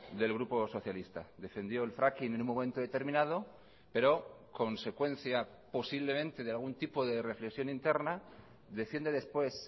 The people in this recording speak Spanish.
del grupo socialista defendió el fracking en un momento determinado pero consecuencia posiblemente de algún tipo de reflexión interna defiende después